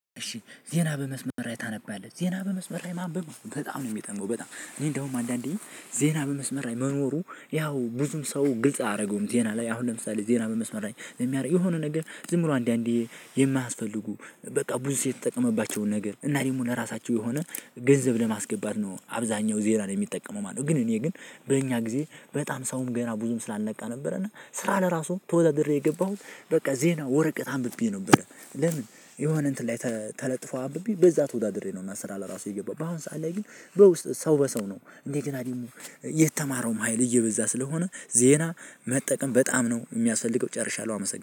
እሺ ዜና በመስመር ላይ ታነባለህ? ዜና በመስመር ላይ ማንበብ በጣም ነው የሚጠመው። በጣም እኔ እንደውም አንዳንዴ ዜና በመስመር ላይ መኖሩ ያው ብዙም ሰው ግልጽ አያደርገውም። ዜና ላይ አሁን ለምሳሌ ዜና መመስመር ላይ የሚያደርግ የሆነ ነገር ዝምብሎ አንድ አንዴ የማያስፈልጉ በቃ ብዙ ሴው የተጠቀመባቸውን ነገር እና ደሞ የራሳቸው የሆነ ገንዘብ ለማስገባት ነው። አብዛኛው ዜናን የሚጠቀመው ማለት ነው። ግን እኔ ግን በእኛ ጊዜ በጣም ሰውም ገና ብዙም ስላልነቃ ነበር። እና ስራ ለራሱ ተወዳድሬ የገባሁት በቃ ዜና ወረቀት አንብቤ ነው። ብለህ ለምን? የሆነ እንትን ላይ ተለጥፎ አንብቤ በዛ ተወዳድሬ ነው። እና ስራ ለራሱ የገባው በአሁን ሰዓት ላይ ግን በውስጥ ሰው በሰው ነው እንዴ? ገና ደግሞ የተማረውም ሀይል እየበዛ ስለሆነ ዜና መጠቀም በጣም ነው የሚያስፈልገው። ጨርሻለሁ አመሰግናለሁ